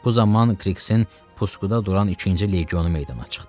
Bu zaman Kriksin pusuquda duran ikinci leqionu meydana çıxdı.